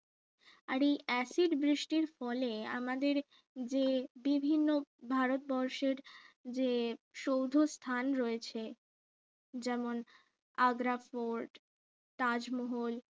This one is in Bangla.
আর এই অ্যাসিড বৃষ্টির ফলে আমাদের যে বিভিন্ন ভারতবর্ষের যে সৌধ স্থান রয়েছে যেমন আগ্রা ফোর্ট তাজমহল